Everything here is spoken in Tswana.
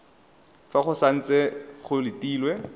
fa go santse go letilwe